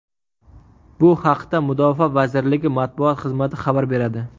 Bu haqda Mudofaa vazirligi matbuot xizmati xabar beradi.